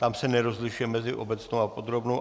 Tam se nerozlišuje mezi obecnou a podrobnou.